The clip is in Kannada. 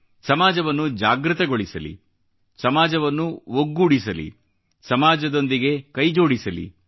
ಸಮಾಜವನ್ನು ಜಾಗೃತಗೊಳಿಸಲಿ ಸಮಾಜವನ್ನು ಒಗ್ಗೂಡಿಸಲಿ ಸಮಾಜದೊಂದಿಗೆ ಕೈಜೋಡಿಸಲಿ